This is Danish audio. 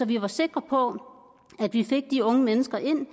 vi var sikre på at vi fik de unge mennesker ind